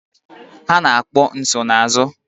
Ha na-akpọ nsonaazụ.